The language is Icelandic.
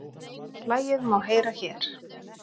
Lagið má heyra hér